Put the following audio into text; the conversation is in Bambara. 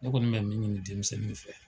Ne kɔni bɛ min ɲini denmisɛnnuw fɛ